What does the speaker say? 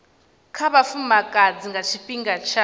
kha vhafumakadzi nga tshifhinga tsha